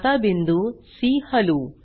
आता बिंदू सी हलवू